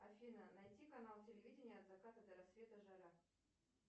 афина найти канал телевидения от заката до рассвета жара